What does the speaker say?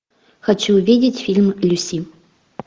хочу увидеть фильм люси